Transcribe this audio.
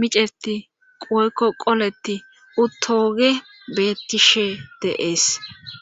miceti qoyko qoleti uttooge bebeettishe dees.